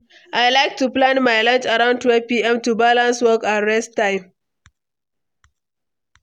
I like to plan my lunch around 12pm, to balance work and rest time.